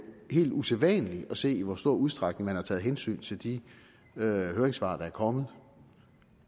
helt usædvanligt bare sige i hvor stor udstrækning der er taget hensyn til de høringssvar der er kommet